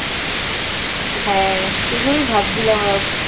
সেগুলোই ভাবছিলাম আর